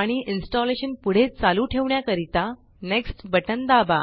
आणि इन्स्टॉलेशन पुढे चालू ठेवण्याकरिता नेक्स्ट बटन दाबा